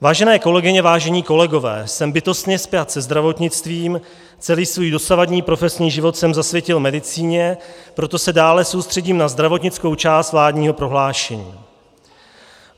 Vážené kolegyně, vážení kolegové, jsem bytostně spjat se zdravotnictvím, celý svůj dosavadní profesní život jsem zasvětil medicíně, proto se dále soustředím na zdravotnickou část vládního prohlášení.